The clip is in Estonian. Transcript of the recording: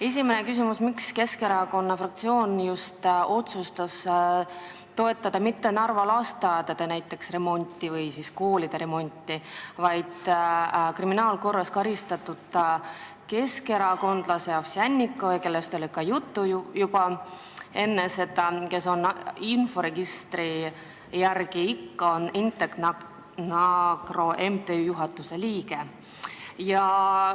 Esimene küsimus: miks otsustas Keskerakonna fraktsioon mitte toetada näiteks Narva lasteaedade või koolide remonti, toetades selle asemel kriminaalkorras karistatud keskerakondlast Ovsjannikovi, kellest oli juba enne juttu ja kes inforegistri järgi ikkagi on Intec-Nakro MTÜ juhatuse liige?